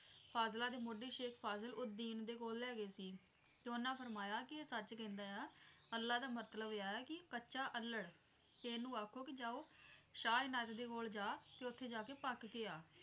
ਫ਼ਾਜਲਾਂ ਦੇ ਮੋਢੀ ਸ਼ੇਖ ਫਾਜ਼ਲ ਉਦੀਂਨ ਦੇ ਕੋਲ ਲੈਗੇ ਸੀ ਤੇ ਉਹਨਾਂ ਫਰਮਾਇਆ ਕੀ ਇਹ ਸੱਚ ਕਹਿੰਦਾ ਆ ਅੱਲਾ ਦਾ ਮਤਲਬ ਐ ਕੀ ਕੱਚਾ ਚੱਲੜ ਤੇ ਇਹਨੂੰ ਆਖੋ ਕੇ ਜਾਓ ਸ਼ਾਹ ਇਨਾਇਤ ਦੇ ਕੋਲ ਜਾ ਉੱਥੇ ਜਾਕੇ ਪੱਕ ਕੇ ਆ।